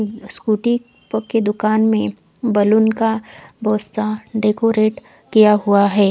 Scooty की दुकान में बलून का बहोत सा डेकोरेशन किया हुआ है।